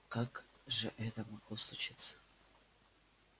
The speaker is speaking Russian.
как же это могло случиться